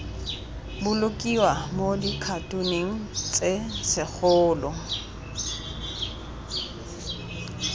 bolokiwa mo dikhatoneng tse segolo